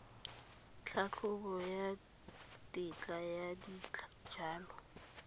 tlhatlhobo ya tetla ya dijalo